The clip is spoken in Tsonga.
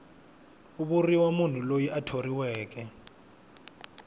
vuriwa munhu loyi a thoriweke